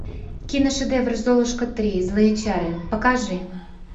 киношедевр золушка три злые чары покажи